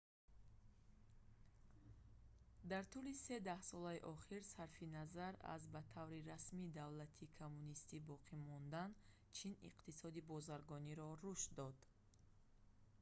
дар тӯли се даҳсолаи охир сарфи назар аз ба таври расмӣ давлати коммунистӣ боқӣ мондан чин иқтисоди бозаргониро рушд дод